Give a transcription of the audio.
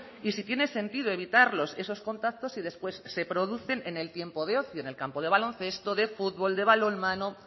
y si tiene sentido evitar esos contactos y después se producen en el tiempo de ocio en el campo de baloncesto de fútbol de balonmano